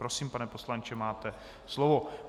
Prosím, pane poslanče máte slovo.